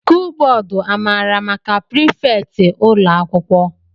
skụl bódú amara maka prifétị ụlọ akwụkwọ?